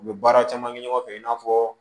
U bɛ baara caman kɛ ɲɔgɔn fɛ i n'a fɔ